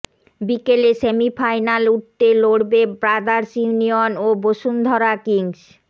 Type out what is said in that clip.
বিকেলে সেমিফাইনাল উঠতে লড়বে ব্রাদার্স ইউনিয়ন ও বসুন্ধরা কিংস